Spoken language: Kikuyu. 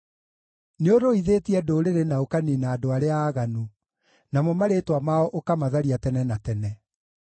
Nĩũrũithĩtie ndũrĩrĩ na ũkaniina andũ arĩa aaganu; namo marĩĩtwa mao ũkamatharia tene na tene.